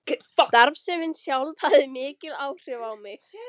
Starfsemin sjálf hafði mikil áhrif á mig.